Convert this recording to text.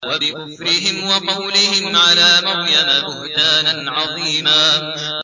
وَبِكُفْرِهِمْ وَقَوْلِهِمْ عَلَىٰ مَرْيَمَ بُهْتَانًا عَظِيمًا